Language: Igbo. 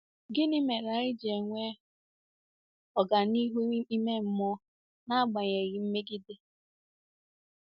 Gịnị mere anyị ji enwe ọganihu ime mmụọ n'agbanyeghị mmegide?